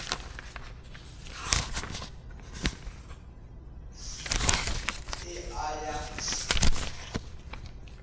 th e a ya th